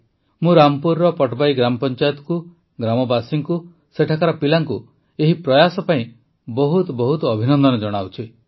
ମୁଁ ରାମପୁରର ପଟବାଇ ଗ୍ରାମପଂଚାୟତକୁ ଗ୍ରାମବାସୀଙ୍କୁ ସେଠାକାର ପିଲାଙ୍କୁ ଏହି ପ୍ରୟାସ ପାଇଁ ବହୁତ ବହୁତ ଅଭିନନ୍ଦନ ଜଣାଉଛି